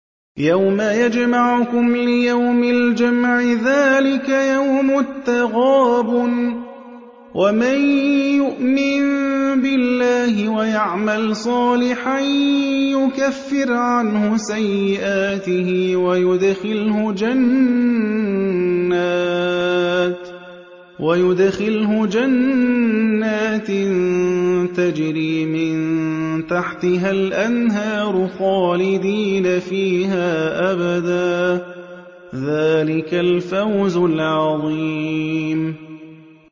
يَوْمَ يَجْمَعُكُمْ لِيَوْمِ الْجَمْعِ ۖ ذَٰلِكَ يَوْمُ التَّغَابُنِ ۗ وَمَن يُؤْمِن بِاللَّهِ وَيَعْمَلْ صَالِحًا يُكَفِّرْ عَنْهُ سَيِّئَاتِهِ وَيُدْخِلْهُ جَنَّاتٍ تَجْرِي مِن تَحْتِهَا الْأَنْهَارُ خَالِدِينَ فِيهَا أَبَدًا ۚ ذَٰلِكَ الْفَوْزُ الْعَظِيمُ